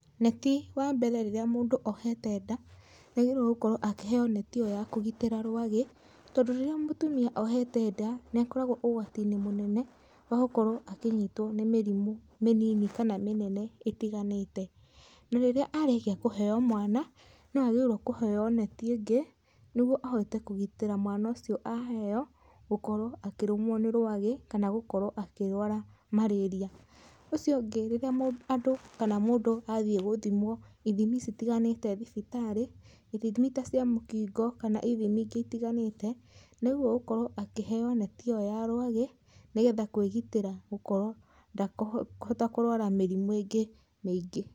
Neti wa mbere rĩrĩa mũndũ ohete nda, nĩ agĩrĩrwo gũkorwo akĩheyo neti iyo ya kũgitĩra rwagĩ, tondũ rĩrĩa mũtumia ohete nda, nĩ akoragwa ugwatinĩ mũnene wa gũkorwa a kinyitwo nĩ mĩrimũ mĩnini kana mĩnene ĩtiganĩte, na rĩrĩa arĩkia kũheyo mwana, no agĩrĩrwo kũheyo neti ĩngĩ nĩguo ahote kũgitĩra mwana ũcio aheo, gũkorwo akĩrũmwo nĩ rwagĩ , kana gũkorwo akĩrwara marĩria. ũcio ũngĩ, rĩrĩa andũ kana mũndũ athiĩ gũthimwo ithimi citiganĩte thibitarĩ, ithimi ta cia mũkingo, kana ithimi ingĩ itiganĩte, nĩ agĩrĩrwo gũkorwo akĩheyo neti ĩyo ya rwagĩ nĩ getha kwĩgitĩra gũkorwo ndekũhota kũrwara mĩrimũ ĩngĩ mĩngĩ.